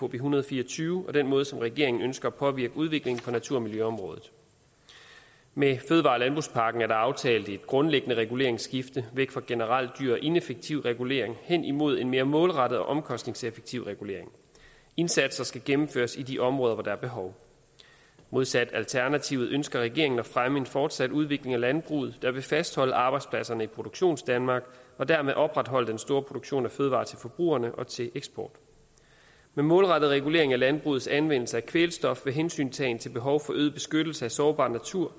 en hundrede og fire og tyve og den måde som regeringen ønsker at påvirke udviklingen på natur og miljøområdet med fødevare og landbrugspakken er der aftalt et grundlæggende reguleringsskifte væk fra generel og dyr og ineffektiv regulering hen imod en mere målrettet og omkostningseffektiv regulering indsatser skal gennemføres i de områder hvor der er behov modsat alternativet ønsker regeringen at fremme en fortsat udvikling af landbruget der vil fastholde arbejdspladserne i produktionsdanmark og dermed opretholde den store produktion af fødevarer til forbrugerne og til eksporten med målrettet regulering af landbrugets anvendelse af kvælstof med hensyntagen til behov for øget beskyttelse af sårbar natur